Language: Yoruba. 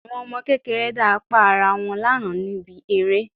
Àwọn ọmọ kékeré dá apá ará wọn lánàá níbi eré